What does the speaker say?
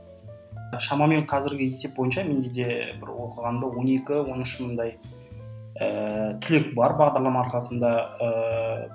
шамамен қазіргі есеп бойынша менде де бір оқығанымда он екі он үш мыңдай ііі түлек бар бағдарлама арқасында ііі